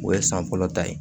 O ye san fɔlɔ ta ye